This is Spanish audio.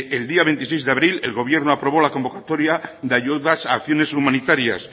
el día veintiséis de abril el gobierno aprobó la convocatoria de ayudas a acciones humanitarias